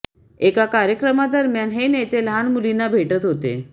एका कार्यक्रमादरम्यान हे नेते लहान मुलींना भेटत होते